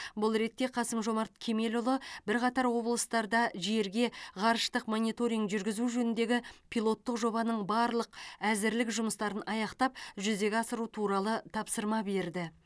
бұл ретте қасым жомарт кемелұлы бірқатар облыстарда жерге ғарыштық мониторинг жүргізу жөніндегі пилоттық жобаның барлық әзірлік жұмыстарын аяқтап жүзеге асыру туралы тапсырма берді